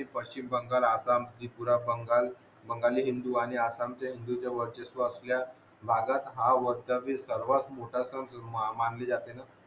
पश्चिम बंगाल आसाम त्रिपुरा बंगाल बंगाली हिंदू आणि आसामचे हिंदू च्या वर्चस्व असल्या भागात हा वर्षातील सर्वात मोठा सण मानले जाते ना